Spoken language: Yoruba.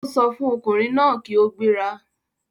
Ó sọ fún ọkùnrin náà kí ó gbéra.